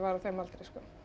á þeim aldri